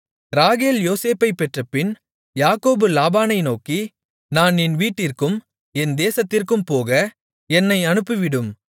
ராகேல் யோசேப்பைப் பெற்றபின் யாக்கோபு லாபானை நோக்கி நான் என் வீட்டிற்கும் என் தேசத்திற்கும் போக என்னை அனுப்பிவிடும்